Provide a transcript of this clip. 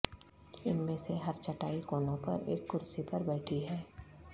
ان میں سے ہر چٹائی کونوں پر ایک کرسی پر بیٹھی ہے